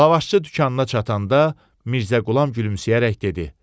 Lavaşıçı dükanına çatanda Mirzə Qulam gülümsəyərək dedi: